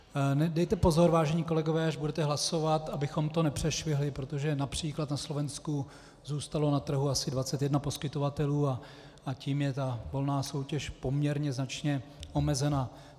Dejte pozor, vážení kolegové, až budete hlasovat, abychom to nepřešvihli, protože například na Slovensku zůstalo na trhu asi 21 poskytovatelů a tím je ta volná soutěž poměrně značně omezena.